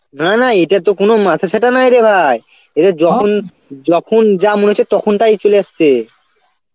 না না এটার তো কোন মাথাছাতা নাই রে ভাই, এদের যখন যখন যা মনে হচ্ছে তখন তাই চলে আসছে.